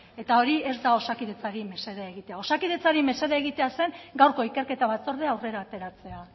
eta hori ez da osakidetzari mesedea egitea osakidetzari mesede egitea zen gaurko ikerketa batzordea aurrera ateratzea